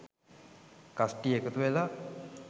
කස්ටිය එකතු වෙලා